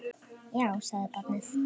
Já, sagði barnið.